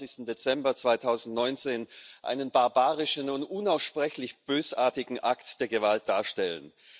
26. Dezember 2019, einen barbarischen und unaussprechlich bösartigen Akt der Gewalt darstellen.